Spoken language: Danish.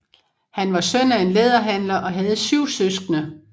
Han var søn af en læderhandler og havde 7 søskende